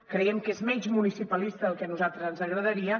creiem que és menys municipalista del que a nosaltres ens agradaria